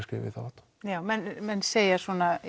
skrefum í þá átt já menn segja